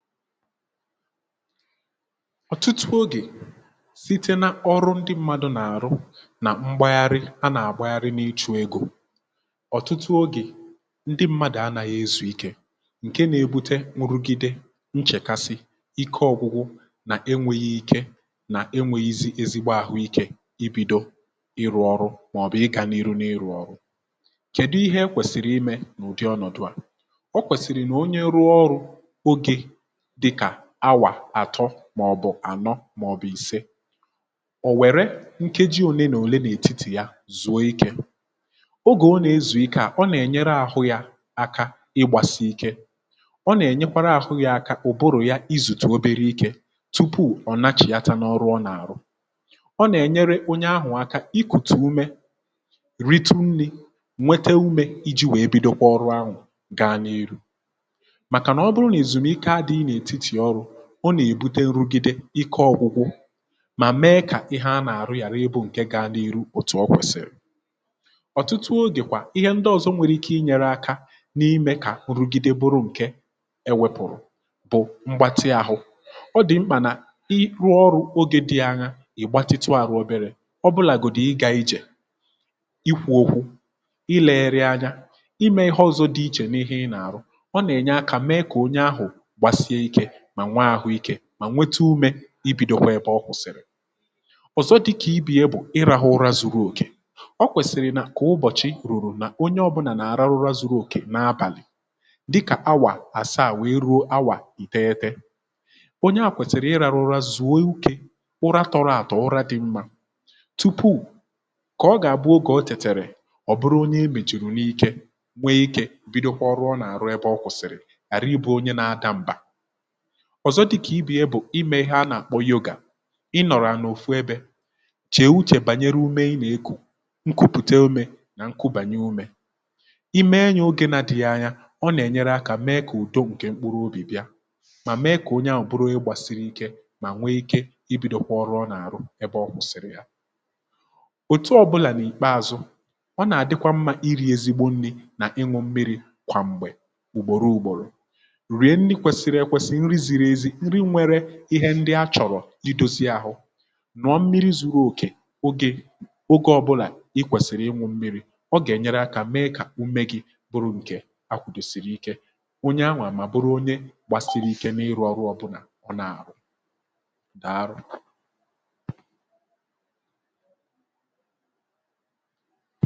Ọ̀tụtụ ogè site na ọrụ ndị mmadụ̇ nà-àrụ nà mgbagharị a nà-àgbagharị n’ịchụ̇ egȯ, ọ̀tụtụ ogè ndị mmadụ̀ anȧghị ezù ike ǹke nȧ-egbute nrugide nchèkasi ike ọ̇gụ̇gụ̇ nà enwėghi ike nà enwėghi izi ezigbo àhụ ikė, um i bido ịrụ̇ ọrụ màọbụ̀ ịgȧ n’iru n’ịrụ̇ ọrụ̇, kèdu ihe e kwèsìrì imė n’ụ̀dị ọnọ̀dụ̀ a, o kwèsìrì nà onye rụọ ọrụ̇ dịkà awà àtọ maọ̀bụ̀ ànọ maọ̀bụ̀ ìse ò wère nkeji òne na òle n’ètitì ya zùo ikė ogè o nà-ezùike, à ọ nà-ènyere ahụ̇ ya aka ị gbasi ike, ọ nà-ènyekwara ahụ̇ ya aka ụ̀bụrụ̀ ya izùtù obere ike tupu ọ̀ na-chìata n’ọrụ ọ nà-àrụ, um ọ nà-ènyere onye ahụ̀ aka ikùtù ume ritunni nwete ume iji̇ wee bido kwa ọrụ ahụ̀, ga n’irù ọ nà-èbute nrugide ike ọgwụgwụ mà mee kà ihe a nà-àrụ yàra ịbụ̇ ǹke gȧ n’ihu, òtù ọ kwẹ̀sị̀rị̀ ọ̀tụtụ ogè kwa ihe ndị ọ̀zọ nwere ike inyere aka n’imė kà nrugide bụrụ ǹke ewẹ̀pụ̀rụ̀, um bụ̀ mgbatị ahụ̇ ọ dị̀ mkpà nà i rụọ ọrụ̇ ogė dị aña ìgbatịtụ àrụ oberė ọ bụlà gụ̀dị̀ ịgȧ, ijè i kwuo okwu ị lėre anya imė ihe ọzọ̇ dị ichè n’ihe ị nà-àrụ, ọ nà-ènye akȧ mee kà onye ahụ̀ mà nwaàhụ ikė mà nwete umė i bìdokwa ẹbẹ ọ kwụ̀sị̀rị̀ ọ̀zọ, dịkà ibe ya bụ̀ ịrȧhụ̇ ụra zu̇ru̇ òkè, ọ kwèsị̀rị̀ nà kà ụbọ̀chị rùrù nà onye ọ̇bụ̇nà nà-àrarụra zuru òkè n’abàlị̀, dịkà awà àsị àwụ̀ ịrụ awà ị̀ teete, onye à kwèsị̀rị̀ ịrȧhụ̇ ụra zu̇ru̇ òkè, ụra tọrọ àtọ, ụra dị mmȧ tupu kà ọ gà-àbụ ogè o chètèrè, um ọ̀ bụrụ onye imèchìrù n’ike nwee ikė bido kwa ọrụ ọ nà-àrụ, ịbà ọ kwụ̀sị̀rị̀ àrịbụ onye nȧ adȧ m̀bà ọzọ, dịkà ibe ya bụ̀ imė ihe a nà-àkpọ yoga, ịnọ̀rọ̀ à n’òfu ebė, chèè uchè bànyere ume, ịnà ekù nkụpụ̀te ume nà nkụbànye ume ime, enyė oge na-dị̇ghị̇ anya, ọ nà-ènyere akȧ mee kà ùdo ǹkè mkpụrụ obì bịa, mà mee kà onye ahụ̀ buru ịgbȧsịrị ike, mà nwe ike i bido kwa ọrụ ọ nà-àrụ ebe ọ kwụ̀sị̀rị̀ ya, òtu ọ̇bụ̇là n’ìkpeȧzụ̇, ọ nà-àdịkwa mmȧ iri̇ ezigbo nni̇ nà ịnụ̇ mmiri̇, kwa m̀gbè ùgbòro ùgbòrò ndị a chọ̀rọ̀ idozi ahụ nọ̀ mmiri ziri oke ogè, ọbụlà ikwèsị̀rị̀ ịnwụ mmiri̇, ọ gà-ènyere akȧ mee kà ume gi̇ bụrụ ǹkè akwùdòsị̀rị̀ ike onye a nwà, um mà bụrụ onye gbàsịrị ike n’ịrụ̇ ọrụ ọbụlà ọ nà-àrụ dàa arọ̀.